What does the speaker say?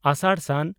ᱟᱥᱟᱲᱼ ᱥᱟᱱ